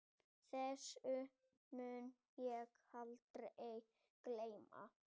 Síðasta tímabil voru fjögur spænsk lið enn með á þessu stigi keppninnar.